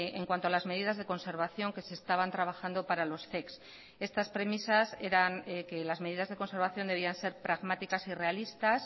en cuanto a las medidas de conservación que se estaban trabajando para los zep estas premisas eran que las medidas de conservación debían ser pragmáticas y realistas